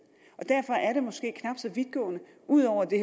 derfor er det måske knap så vidtgående ud over at det